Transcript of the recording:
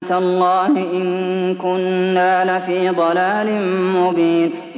تَاللَّهِ إِن كُنَّا لَفِي ضَلَالٍ مُّبِينٍ